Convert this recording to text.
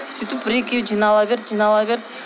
сөйтіп бір екеу жинала берді жинала берді